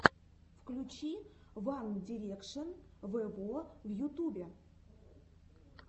включи ван дирекшен вево в ютубе